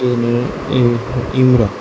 ইমি ইউ ইউরা--